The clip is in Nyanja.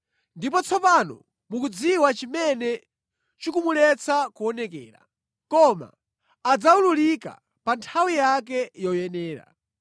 Ndipo tsopano mukudziwa chimene chikumuletsa kuonekera, koma adzawululika pa nthawi yake yoyenera.